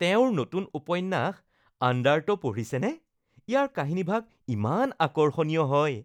তেওঁৰ নতুন উপন্যাস আণ্ডাৰট’ পঢ়িছেনে? ইয়াৰ কাহিনীভাগ ইমান আকৰ্ষণীয় হয়।